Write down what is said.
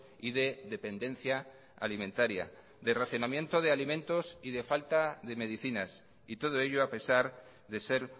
y de dependencia alimentaria de racionamiento de alimentos y de falta de medicinas y todo ello a pesar de ser